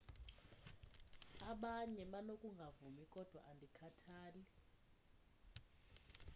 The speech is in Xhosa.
abanye banokungavumi kodwa andikhathali